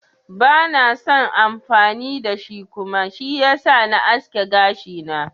Bans son amfani da kuma, shi yasa na aske gashina.